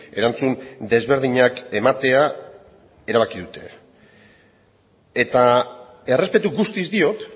erantzun desberdinak ematea erabaki dute eta errespetu guztiz diot